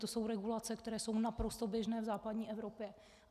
To jsou regulace, které jsou naprosto běžné v západní Evropě.